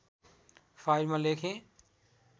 फाइलमा लेखेँ